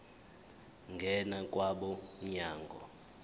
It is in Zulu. ngena kwabo mnyango